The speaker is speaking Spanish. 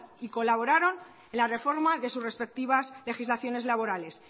y colaboraron en la reforma de sus respectivas legislaciones laborales